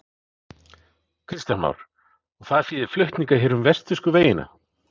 Kristján Már: Og það þýðir flutninga hér um vestfirsku vegina?